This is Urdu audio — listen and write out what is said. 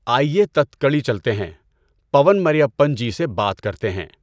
آیئے تتکڑی چلتے ہیں، پون مریپّن جی سے بات کرتے ہیں۔